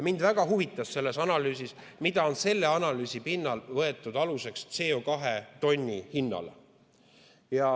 Mind väga huvitas selles analüüsis, mis on selle analüüsi pinnalt võetud aluseks CO2 tonni hinnale.